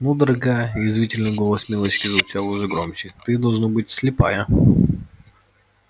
ну дорогая язвительный голос милочки звучал уже громче ты должно быть слепая